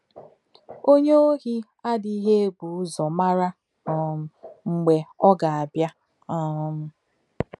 Onye ohi adịghị ebu ụzọ mara um mgbe ọ ga-abịa. um